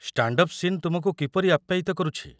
Stand up scene ତୁମକୁ କିପରି ଆପ୍ୟାୟିତ କରୁଛି?